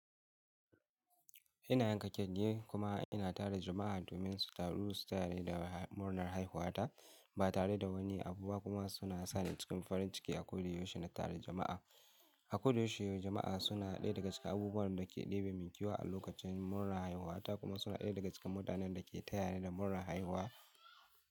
Ina yanka cake kuma ina tara jama'a domin su taru su tayani da murnar haihuwata ba tare da wani abu ba kuma suna sani cikin farin ciki a ko da yaushe na tara jama'a. A ko da yaushe jama'a suna ɗaya daga cikin abubuwan da ke ɗebe min kewa a lokacin murnar haihuwata kuma suna ɗaya daga cikin mutanen da ke tayani da murnar haihuwa.